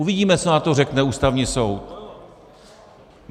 Uvidíme, co na to řekne Ústavní soud.